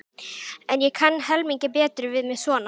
En ég kann helmingi betur við mig svona.